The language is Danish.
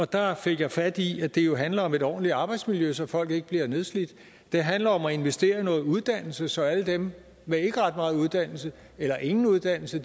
der fik jeg fat i at det jo handler om et ordentligt arbejdsmiljø så folk ikke bliver nedslidt det handler om at investere i noget uddannelse så alle dem med ikke ret meget uddannelse eller ingen uddannelse